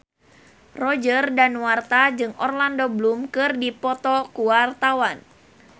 Roger Danuarta jeung Orlando Bloom keur dipoto ku wartawan